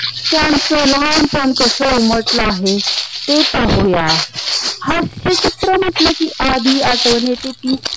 त्यांच लहानपण कसं उमटल आहे ते पाहूया हास्य चित्र म्हटल की आधी आठवण येते ती